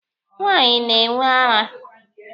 Nwaanyị na-enwe ara.